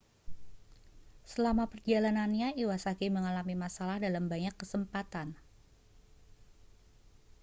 selama perjalanannya iwasaki mengalami masalah dalam banyak kesempatan